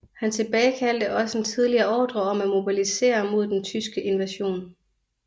Han tilbagekaldte også en tidligere ordre om at mobilisere mod den tyske invasion